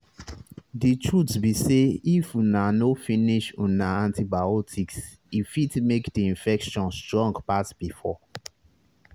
the truth be sayif una no finish una antibiotics e fit make the infection strong pass before